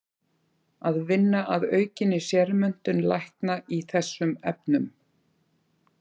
Að vinna að aukinni sérmenntun lækna í þessum efnum.